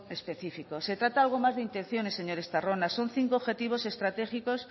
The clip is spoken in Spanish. específico se trata de algo más de intenciones señor estarrona son cinco objetivos estratégicos